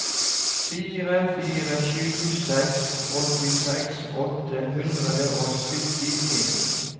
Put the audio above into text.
fire fire sju seks åttiseks åtte hundre og syttien